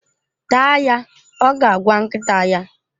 Taa ya! Ọ ga-agwa nkịta ya.